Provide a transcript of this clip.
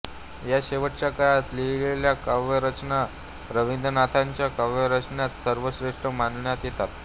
या शेवटच्या काळात लिहिलेल्या काव्यरचना रवींद्रनाथांच्या काव्यरचनांत सर्वश्रेष्ठ मानण्यात येतात